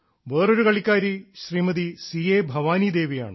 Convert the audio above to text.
വേറൊരു കളിക്കാരി Shrimati C A Bhavani ദേവിയാണ്